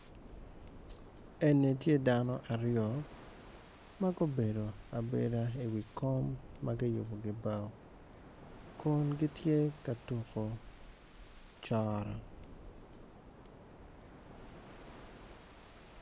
Eni tye dano aryo magubedo abeda i wi kom makiyubo ki bao kun gitye ka tuko coro.